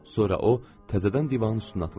Sonra o təzədən divanın üstünə atılırdı.